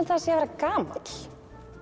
það sé að vera gamall